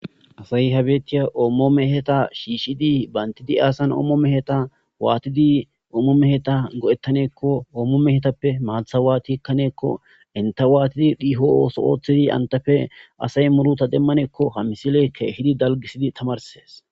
Asayi ha beetiya ommo meheta shiishshidi banti de'iyasan ommo meheta waatidi ommo meheta go7ettaneekko. Ommo mehetappe maatha waati ekaneekko . Enta waatidi dhiiho ooso ooththidi antafe asay muuruta demmaneekko. Ha misileykke hidi dalgisidi tamarsees.